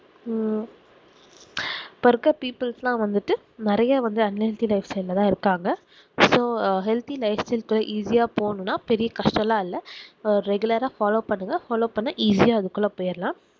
ஹம் இப்போ இருக்குற people ஸ் லாம் நெறைய வந்து un healthy life style தான் இருக்காங்க so healthy life style இப்போ easy ஆஹ் போணும்னா பெரிய கஷ்டம்லாம் இல்ல இப்போ regular ஆஹ் follow பண்ணுங்க follow பண்ணா easy அதுக்குள்ள போயிறலாம்